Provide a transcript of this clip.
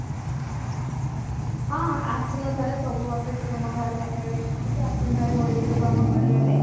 ହଁ ସବୁ ବର୍ଷ ତମ ଘର ପାଖରେ ଦେଖେ ଆଶୁନୁ ଥରେ ହୋଲି ହୋଲି ଯୋଗୁ ଆମ ଘର ଆଡେ